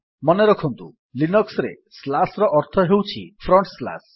ମନେରଖନ୍ତୁ ଲିନକ୍ସ୍ ରେ ସ୍ଲାସ୍ ର ଅର୍ଥ ହେଉଛି ଫ୍ରଣ୍ଟ୍ ସ୍ଲାସ୍